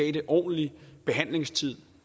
en ordentlig behandlingstid